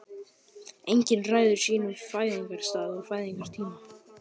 Enginn ræður sínum fæðingarstað og fæðingartíma.